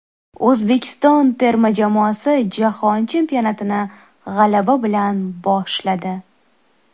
O‘zbekiston terma jamoasi Jahon chempionatini g‘alaba bilan boshladi.